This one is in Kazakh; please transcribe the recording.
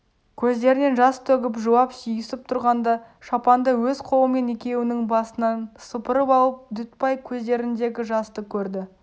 көздерінен жас төгіп жылап сүйісіп тұрғанда шапанды өз қолымен екеуінің басынан сыпырып алып дүтбай көздеріндегі жасты көрді